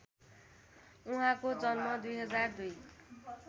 उहाँको जन्म २००२